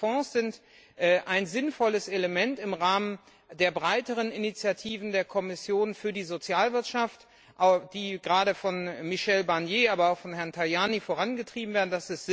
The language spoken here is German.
Nein, diese Fonds sind ein sinnvolles Instrument im Rahmen der breiteren Initiativen der Kommission für die Sozialwirtschaft, die gerade von Herrn Barnier, aber auch von Herrn Tajani vorangetrieben werden.